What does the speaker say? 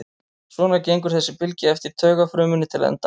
Svona gengur þessi bylgja eftir taugafrumunni til enda hennar.